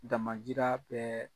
Damanjira bɛɛ